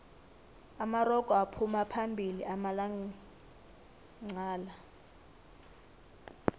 amarogo aphuma phambili amalanqala